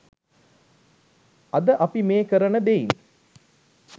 අද අපි මේ කරන දෙයින්